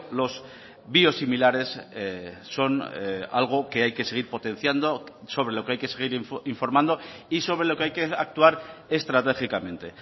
los biosimilares son algo que hay que seguir potenciando sobre lo que hay que seguir informando y sobre lo que hay que actuar estratégicamente